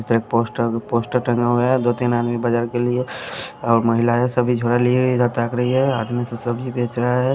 एक poster poster टंगा हुआ है दो तीन आदमी बाजार के लिए और महिला है सभी झोला लिए इधर तक रही है आदमी से सब्जी बेच रहा है।